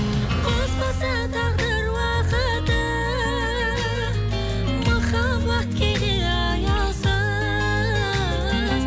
қоспаса тағдыр уақыты махаббат кейде аяусыз